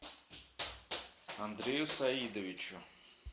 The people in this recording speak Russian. андрею саидовичу